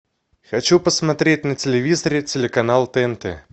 хочу посмотреть на телевизоре телеканал тнт